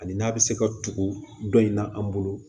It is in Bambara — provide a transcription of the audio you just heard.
Ani n'a bɛ se ka tugu dɔn in na an bolo